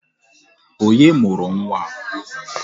Onye mụrụ nwa a?